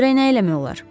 Görək nə eləmək olar.